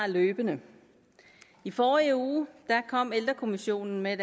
løbende i forrige uge kom ældrekommissionen med